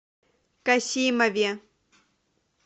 касимове